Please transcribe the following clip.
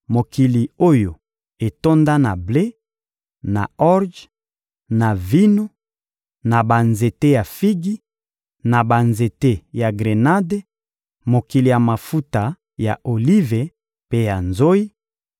mokili oyo etonda na ble, na orje, na vino, na banzete ya figi, na banzete ya grenade; mokili ya mafuta ya olive mpe ya nzoyi;